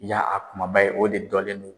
Ya a kumaba ye, o de dɔlen don.